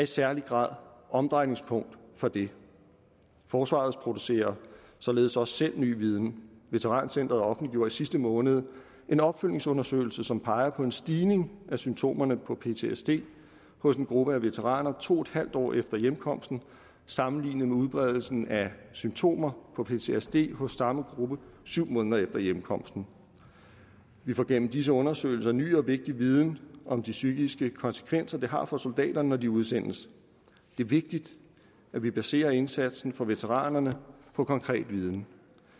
særlig grad omdrejningspunkt for det forsvaret producerer således også selv ny viden veterancentret offentliggjorde i sidste måned en opfølgningsundersøgelse som peger på en stigning i symptomerne på ptsd hos en gruppe af veteraner to en halv år efter hjemkomsten sammenlignet med udbredelsen af symptomer på ptsd hos samme gruppe syv måneder efter hjemkomsten vi får gennem disse undersøgelser ny og vigtig viden om de psykiske konsekvenser det har for soldaterne når de udsendes det er vigtigt at vi baserer indsatsen for veteranerne på konkret viden